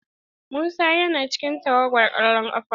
Musa yana cikin tawagar kwallon kafa.